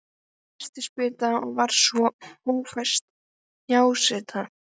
Hann fékk nestisbita og svo hófst hjásetan.